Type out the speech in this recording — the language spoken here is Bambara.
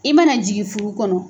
I mana jigin furu kɔnɔ